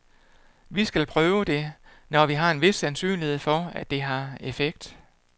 Vi skal prøve det, når vi har en vis sandsynlighed for, at det har effekt.